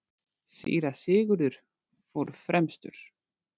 Síra Sigurður fór fremstur.